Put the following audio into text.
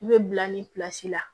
I bɛ bila nin la